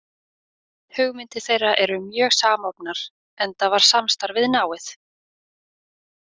Hugmyndir þeirra eru mjög samofnar, enda var samstarfið náið.